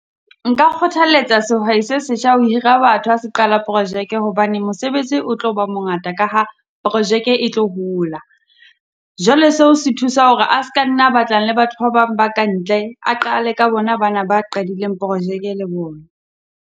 Nka kgothalletsa sehwai se setjha ho hira batho ja se qala projeke hobane mosebetsi o tlo ba mongata ka ha projeke e tlo hola. Jwale se o se thusa hore a ska nna a batlang le batho ba bang ba ka ntle, a qale ka bona bana ba a qadileng projeke le bona.